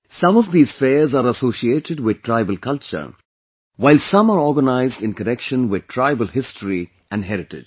Some of these fairs are associated with tribal culture, while some are organized in connection with tribal history and heritage